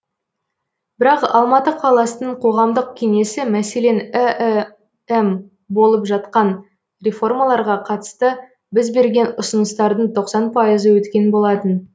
бірақ алматы қаласының қоғамдық кеңесі мәселен іім болып жатқан реформаларға қатысты біз берген ұсыныстардың тоқсан пайызы өткен болатын